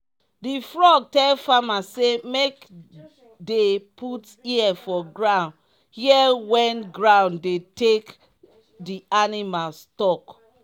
di frog tell farmer say make dey put ear for ground hear wen ground dey take di animals talk.